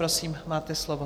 Prosím, máte slovo.